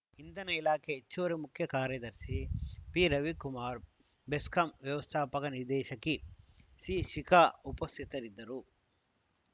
ಇಂಧನ ಇಲಾಖೆ ಹೆಚ್ಚುವರಿ ಮುಖ್ಯ ಕಾರ್ಯದರ್ಶಿ ಪಿರವಿಕುಮಾರ್‌ ಬೆಸ್ಕಾಂ ವ್ಯವಸ್ಥಾಪಕ ನಿರ್ದೇಶಕಿ ಸಿಶಿಖಾ ಉಪಸ್ಥಿತರಿದ್ದರು